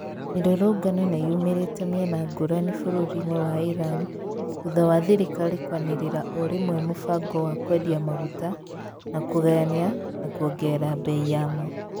Mirurungano niyũmĩrĩte mĩena ngũrani burũri-inĩ wa Iran thutha wa thirikari kwanĩrĩra orĩmwe mũbango wa kwendia maguta na kũgayania na kuongerera bei yamo